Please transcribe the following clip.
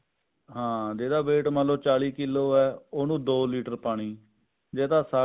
ਹਾਂ ਜਿਹੜਾ weight ਮਤਲਬ ਚਾਲੀ ਕਿਲੋ ਹੈ ਉਹਨੂੰ ਦੋ ਲੀਟਰ ਪਾਣੀ ਜੇ ਤਾਂ